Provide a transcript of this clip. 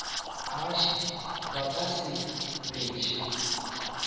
ašii ba ka se beše